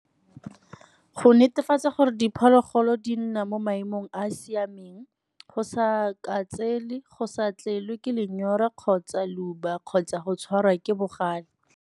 Go netefatsa gore diphologolo di nna mo maemong a a siameng go sa ka go sa tlelwe ke lenyora kgotsa le kgotsa go tshwarwa ke bogale.